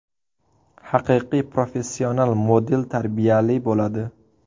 Haqiqiy professional model tarbiyali bo‘ladi.